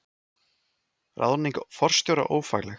Ráðning forstjóra ófagleg